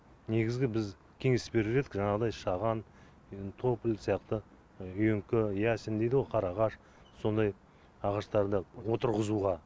негізгі біз кеңес берер едік жаңағыдай шаған тополь сияқты үйеңкі ясень дейді ғой қарағаш сондай ағаштарды отырғызуға